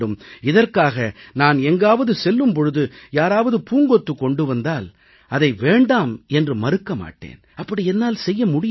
இதற்காக நான் எங்காவது செல்லும் பொழுது யாராவது பூங்கொத்து கொண்டு வந்தால் அதை வேண்டாம் என்று மறுக்க மாட்டேன் அப்படி என்னால் செய்ய முடியாது